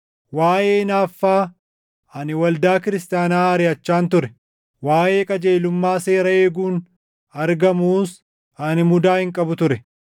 waaʼee hinaaffaa, ani waldaa kiristaanaa ariʼachaan ture; waaʼee qajeelummaa seera eeguun argamuus ani mudaa hin qabu ture.